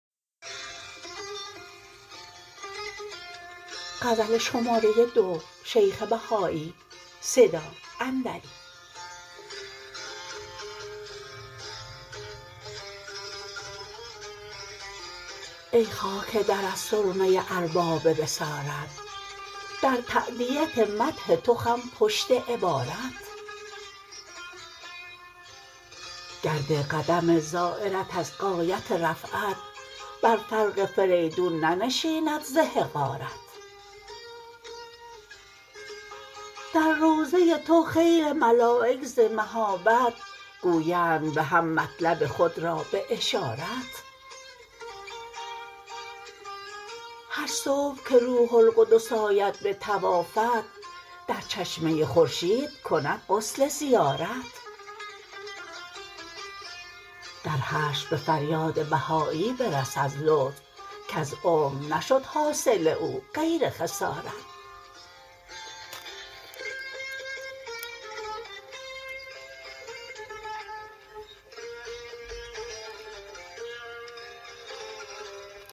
ای خاک درت سرمه ارباب بصارت در تأدیت مدح تو خم پشت عبارت گرد قدم زایرت از غایت رفعت بر فرق فریدون ننشیند ز حقارت در روضه تو خیل ملایک ز مهابت گویند به هم مطلب خود را به اشارت هر صبح که روح القدس آید به طوافت در چشمه خورشید کند غسل زیارت در حشر به فریاد بهایی برس از لطف کز عمر نشد حاصل او غیر خسارت